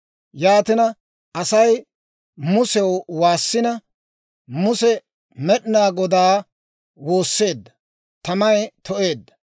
Yaatina Asay Musew waassina, Muse Med'inaa Godaa woosseedda. Tamay to'eedda.